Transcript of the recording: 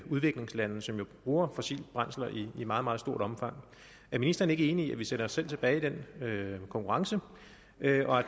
udviklingslande som jo bruger fossile brændsler i meget meget stort omfang er ministeren ikke enig i at vi sætter os selv tilbage i den konkurrence at